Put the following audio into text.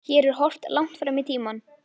Hér er horft langt fram í tímann.